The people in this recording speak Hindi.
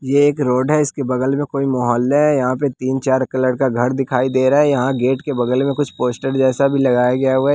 यह एक रोड है इसके बगल में कोई मोहल्ला है यहाँ पे तीन-चार कलर का घर दिखाई दे रहा हैं यहाँ गेट के बगल में कुछ पोस्टर जैसा भी लगाया गया हुआ है।